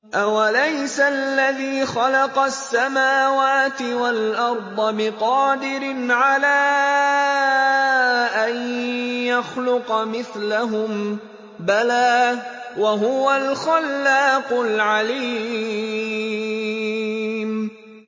أَوَلَيْسَ الَّذِي خَلَقَ السَّمَاوَاتِ وَالْأَرْضَ بِقَادِرٍ عَلَىٰ أَن يَخْلُقَ مِثْلَهُم ۚ بَلَىٰ وَهُوَ الْخَلَّاقُ الْعَلِيمُ